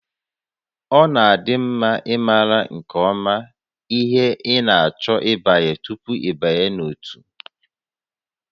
Ọ dị mma ịmara nke ọma ihe ị na-achọ ịbanye tupu ịbanye n'ótú